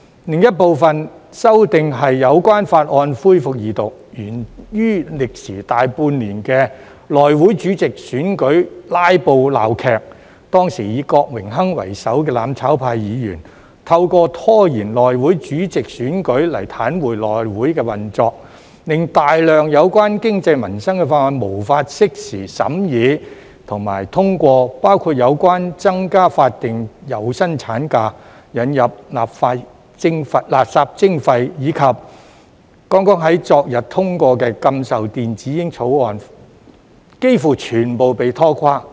另一部分修訂是有關法案的恢復二讀，源於歷時大半年的內務委員會主席選舉"拉布"鬧劇，當時以郭榮鏗為首的"攬炒派"議員，透過拖延內會主席選舉來癱瘓內會運作，令大量有關經濟民生的法案無法適時審議及通過，包括有關增加法定有薪産假、引入垃圾徵費，以及剛剛在昨天通過的禁售電子煙法案，幾乎全部被拖垮。